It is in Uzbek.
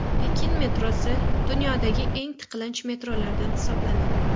Pekin metrosi dunyodagi eng tiqilinch metrolardan hisoblanadi.